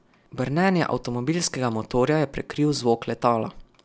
Brnenje avtomobilskega motorja je prekril zvok letala.